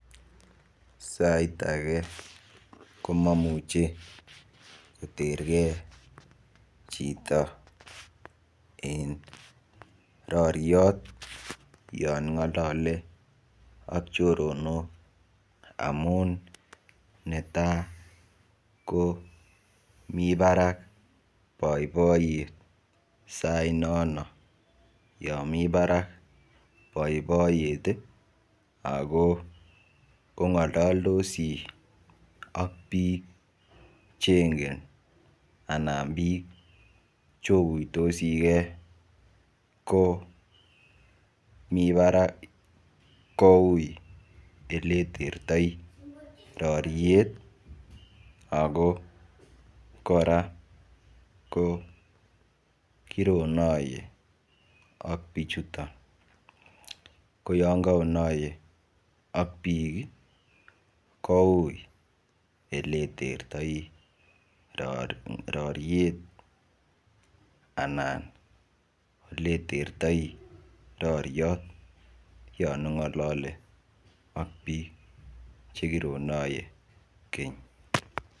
Sait age komamuche kotergee chito eng roriot yon ngolole ak chorondok amun netai ko mi barak boiboiyet sait nono yo mi barak boiboiyet ako ongololdosi ak biik chengen anan biik chokuitosike ko mii barak kou oleitertoi roriet ako kora ko kironoiye ak bichoton ko yon kaonoiye ak biik koui ele tertoi roret anan eletertoi roriot yon ongolole ak biik chekironoiye keny.